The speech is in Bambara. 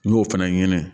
N'i y'o fana ɲini